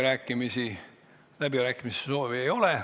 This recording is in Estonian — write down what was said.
Rohkem läbirääkimiste soovi ei ole.